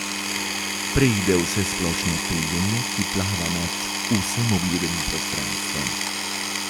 Preide v vsesplošno tuljenje, ki plava nad vsem obljudenim prostranstvom.